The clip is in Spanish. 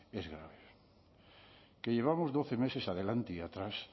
es grave que llevamos doce meses adelante y atrás